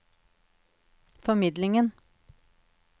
formidlingen